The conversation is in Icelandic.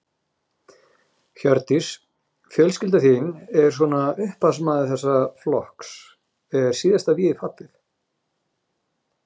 Hjördís: Fjölskylda þín er svona upphafsmaður þessa flokks, er síðasta vígið fallið?